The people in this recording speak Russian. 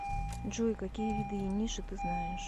джой какие виды ениши ты знаешь